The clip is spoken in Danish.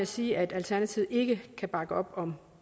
sige at alternativet ikke kan bakke op om